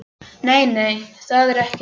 Nei, nei, það er ekki það.